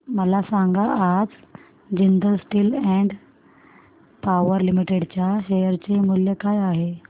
मला सांगा आज Jindal steel and power limited च्या शेअर चे मूल्य काय आहे